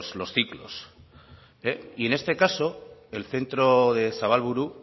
los ciclos y en este caso el centro de zabalburu